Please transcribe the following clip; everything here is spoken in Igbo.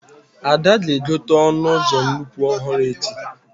Ada ga-egote ọnụ ụzọ nnukwu ọhụrụ echi